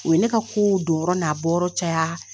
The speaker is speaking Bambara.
O ye ne ka kow jɔyɔrɔ n'a bɔ yɔrɔ caya.